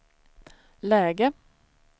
läge